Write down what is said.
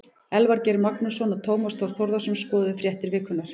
Elvar Geir Magnússon og Tómas Þór Þórðarson skoðuðu fréttir vikunnar.